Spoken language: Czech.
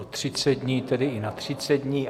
O 30 dní, tedy i na 30 dní.